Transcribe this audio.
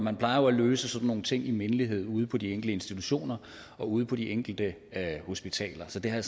man plejer jo at løse sådan nogle ting i mindelighed ude på de enkelte institutioner og ude på de enkelte hospitaler så det har